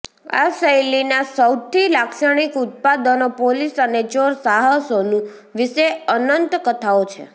આ શૈલીના સૌથી લાક્ષણિક ઉત્પાદનો પોલીસ અને ચોર સાહસોનું વિશે અનંત કથાઓ છે